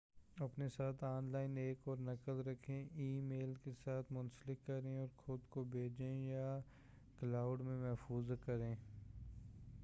اپنے ساتھ online ایک اور نقل رکھیں۔ ای میل کے ساتھ منسلک کریں اور خود کو بھیجیں، یا کلاؤڈ میں محفوظ کریں۔